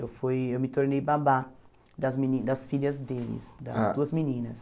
Eu fui eu me tornei babá das meni das filhas deles, das duas meninas.